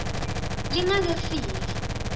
lingakefiki